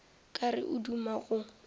ka re o duma go